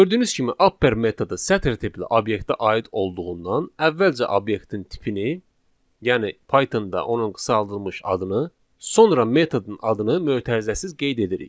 Gördüyünüz kimi upper metodu sətr tipli obyektə aid olduğundan, əvvəlcə obyektin tipini, yəni Pythonda onun qısaldılmış adını, sonra metodun adını mötərizəsiz qeyd edirik.